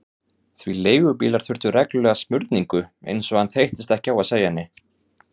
Því leigubílar þurftu reglulega smurningu, eins og hann þreyttist ekki á að segja henni.